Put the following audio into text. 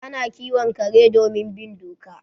Ana kiwon kare domin bin doka